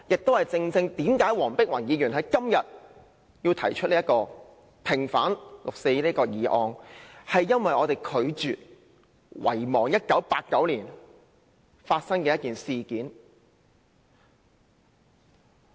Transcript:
這亦正是黃碧雲議員今天提出"毋忘六四"這項議案的原因，是因為我們拒絕遺忘1989年發生的一件事件。